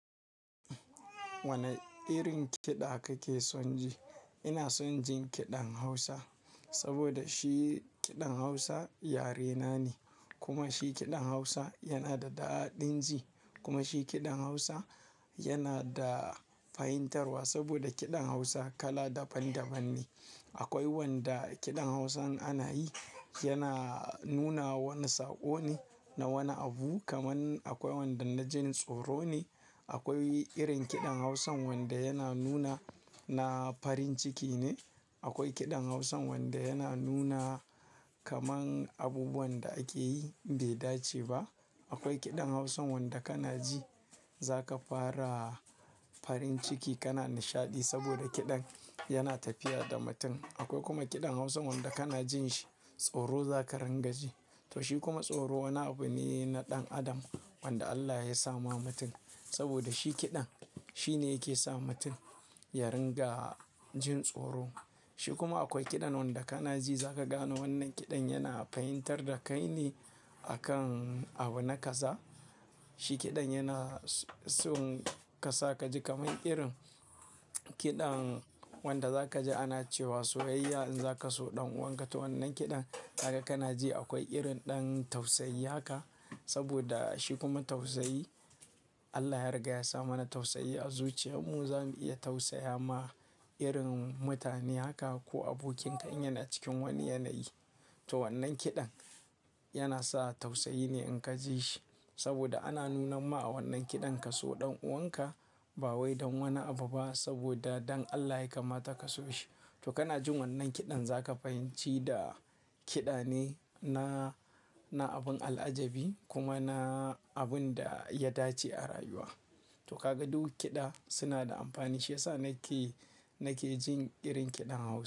Wane irin kiɗa kake son ji? Ina son jin kiɗan Hausa, saboda shi kiɗan Hausa yarena ne. Kuma shi kiɗan Hausa yana da daɗin ji. Kuma shi kiɗan Hausa, yana da fahimtarswa saboda kiɗan Hausa kala daban daban ne. Akwai wanda kiɗan Hausan ana yi, yana nuna wani saƙo ne na wani abu. Kaman akwai wanda na jin tsoro ne. Akwai irin kiɗan Hausan wanda yana nuna na farin ciki ne. Akwai kiɗan Hausan wanda yana nuna kaman abubuwan da ake yi bai dace ba. Akwai kiɗan Hausan wanda kana ji, za ka fara farin ciki kana nishaɗi saboda kiɗan yana tafiya da mutum. Akwai kuma kiɗan Hausan wanda kana jin shi, tsoro za ka rangaji. To shi kuma tsoro wani abu ne na ɗan adam, wanda Allah ya sama mutum saboda shi kiɗan, shi ne yake sa mutum ya ringa jin tsoro. Shi kuma akwai kiɗan wanda kana ji za ka gane wannan kiɗan yana fahimtar da kai ne, a kan abu na kaza, Shi kiɗan yana son ka sa ka ji kaman irin kiɗan, wanda za ka ji ana cewa soyayya in za ka so ɗan uwanka. To wannan kiɗan, haka kana ji akwai irin ɗan tausayi haka, saboda shi kuma tausayi Allah ya riga ya sa mana tausayi a zuciyarmu. Za mu iya tausaya ma irin mutane haka ko abokinka in yana cikin wani yanayi. To wannan kiɗan, yana sa tausayi ne in ka ji shi, saboda ana nuna ma a wannan kiɗan ka so ɗan uwanka, ba wai don wani abu ba saboda don Allah ya kama taka so shi. To kana jin wannan kiɗan za ka fahimci da, kiɗa ne na, na abun al'ajabi, kuma na abun da ya dace a rayuwa. To ka ga duk kiɗa, suna da amfani. Shi yasa nake, nake jin irin kiɗan Hausa.